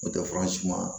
N'o tɛ fura si ma